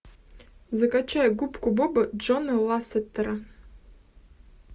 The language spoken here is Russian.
закачай губку боба джона лассетера